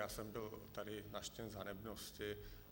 Já jsem byl tady nařčen z hanebnosti.